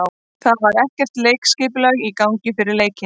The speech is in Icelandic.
Það var ekkert leikskipulag í gangi fyrir leiki.